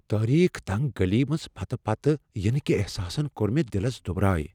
تاریک، تنگ گلی منز پتہٕ پتہٕ ینٕكہِ احساسن كٕر مے٘ دٕلس دٗبراریہ ۔